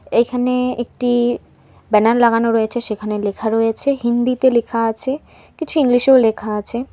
এখানে একটি ব্যানার লাগানো রয়েছে সেখানে লেখা রয়েছে হিন্দিতে লেখা আছে কিছু ইংলিশেও লেখা আছে।